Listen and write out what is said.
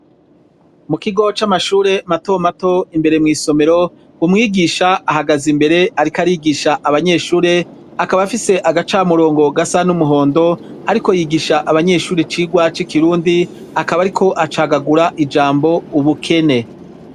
Mu kigo c'amashure mato mato imbere mw'isomero umwigisha ahagaze imbere ariko arigisha abanyeshure akaba afise agacamurongo gasa n'umuhondo ariko yigisha abanyeshure cigwa c'ikirundi akaba ariko acagagura ijambo ubukene.